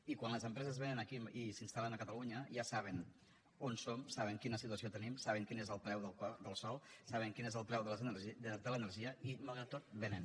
i quan les empreses vénen aquí i s’instal·len a catalunya ja saben on som saben quina situació tenim saben quin és el preu del sòl saben quin és el preu de l’energia i malgrat tot vénen